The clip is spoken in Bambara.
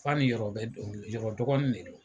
F'a ni Yɔrɔ bɛ dɔngili Yɔrɔ dɔgɔnin ne don.